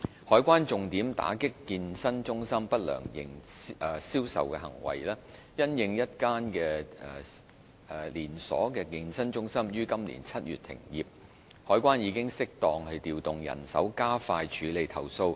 海關重點打擊健身中心不良銷售行為，因應一間連鎖健身中心於今年7月停業，海關已適當調動人手加快處理投訴。